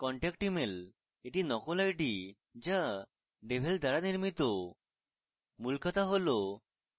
contact emailএটি নকল ID যা devel দ্বারা নির্মিত